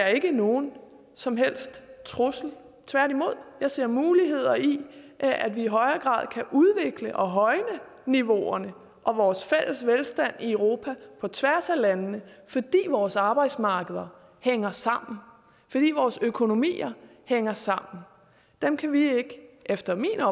jeg ikke nogen som helst trussel tværtimod jeg ser muligheder i at vi i højere grad kan udvikle og højne niveauerne og vores fælles velstand i europa på tværs af landene fordi vores arbejdsmarkeder hænger sammen fordi vores økonomier hænger sammen der kan vi ikke efter min